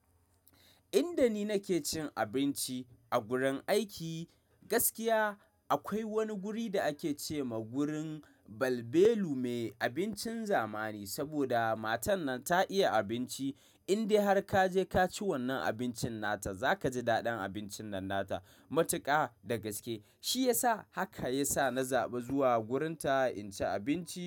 Inda ni nake cin abinci a gurin aiki gaskiya akwai wani guri da ake ce ma gurin balbelu me abincin zamani saboda matar nan ta iya abinci indai har ka je ka ci wannan abincin nata za ka ji daɗin abincin nan nata matuƙa da gaske shi yasa haka yasa na zaɓi zuwa wurinta in ci abinci.